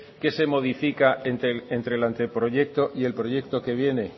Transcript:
qué se modifica entre el anteproyecto y el proyecto que viene